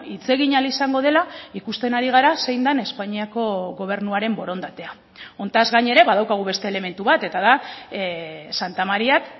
hitz egin ahal izango dela ikusten ari gara zein den espainiako gobernuaren borondatea honetaz gain ere badaukagu beste elementu bat eta da santamaríak